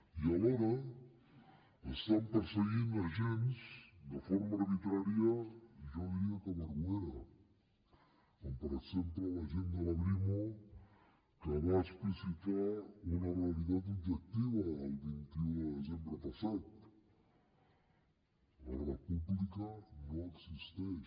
i alhora estan perseguint agents de forma arbitrària i jo diria que barroera com per exemple l’agent de la brimo que va explicitar una realitat objectiva el vint un de desembre passat la república no existeix